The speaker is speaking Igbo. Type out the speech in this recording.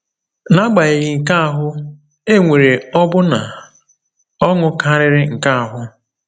N’agbanyeghị nke ahụ, e nwere ọbụna ọṅụ karịrị nke ahụ.